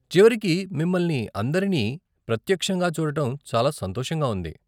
చివరికి మిమ్మల్ని అందరినీ ప్రత్యక్షంగా చూడటం చాలా సంతోషంగా ఉంది.